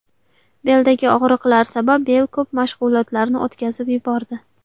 Beldagi og‘riqlar sabab Beyl ko‘p mashg‘ulotlarni o‘tkazib yubordi.